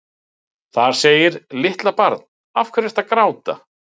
Þar segir: Litla barn, af hverju ertu að gráta?